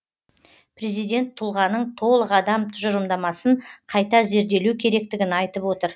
президент тұлғаның толық адам тұжырымдамасын қайта зерделеу керектігін айтып отыр